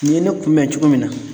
Nin ye ne kunbɛn cogo min na